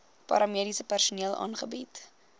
paramediese personeel aangebied